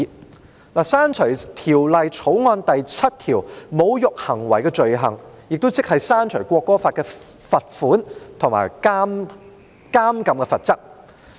我提出刪除《條例草案》第7條"侮辱行為的罪行"，亦即刪除罰款和監禁的罰則。